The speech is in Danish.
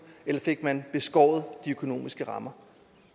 eller fik man beskåret de økonomiske rammer